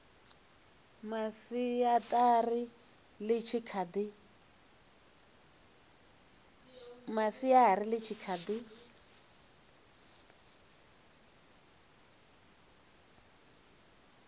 masiari ḽi tshi kha ḓi